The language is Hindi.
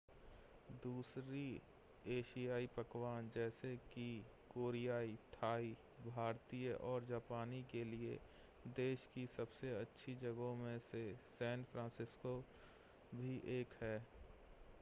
दूसरे एशियाई पकवान जैसे कि कोरियाई थाई भारतीय और जापानी के लिए देश की सबसे अच्छी जगहों में से सैन फ़्रांसिस्को भी एक है